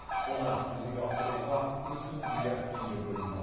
оны жүзеге асыруға үш жүз миллиард теңге бөлінді